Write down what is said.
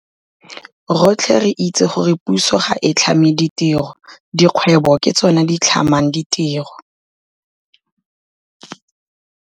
Rotlhe re itse gore puso ga e tlhame ditiro. Dikgwebo ke tsona di tlhamang ditiro.